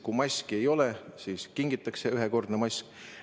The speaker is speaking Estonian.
Kui maski ei ole, siis kingitakse ühekordne mask.